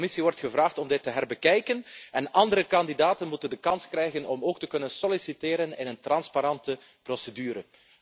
De Commissie wordt gevraagd om dit te opnieuw te bekijken en andere kandidaten moeten de kans krijgen om ook te kunnen solliciteren in een transparante procedure.